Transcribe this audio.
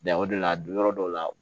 Da o de la don yɔrɔ dɔw la